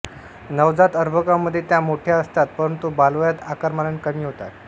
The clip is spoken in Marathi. नवजात अर्भकामध्ये त्या मोठ्या असतात परंतु बालवयात आकारमानाने कमी होतात